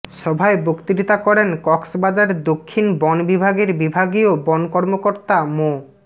সভায় বক্তৃতা করেন কক্সবাজার দক্ষিণ বন বিভাগের বিভাগীয় বন কর্মকর্তা মো